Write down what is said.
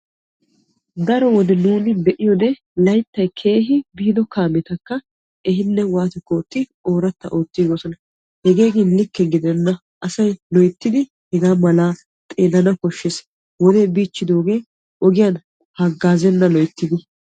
Daro wode nuuni be'iyo wode layttan biido kaamettakka ehiiddi ooratta oottosonna gidikko hegee likke gidenna wodee biichchidooge loyttiddi hagazenna.